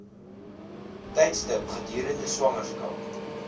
tydstip gedurende swangerskap